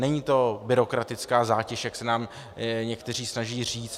Není to byrokratická zátěž, jak se nám někteří snaží říct.